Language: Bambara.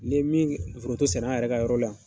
ka foronto sɛnɛ an yɛrɛ ka yɔrɔ la yan.